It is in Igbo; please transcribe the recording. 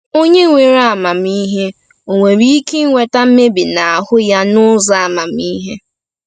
Onye nwere amamihe ò nwere ike iweta mmebi n’ahụ ya n’ụzọ amamihe?